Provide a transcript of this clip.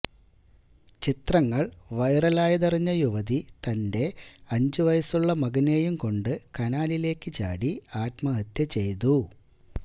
ചിത്രങ്ങൾ വൈറലായതറിഞ്ഞ യുവതി തന്റെ അഞ്ച് വയസ്സുള്ള മകനെയും കൊണ്ട് കനാലിലേക്ക് ചാടി ആത്മഹത്യ ചെയ്തു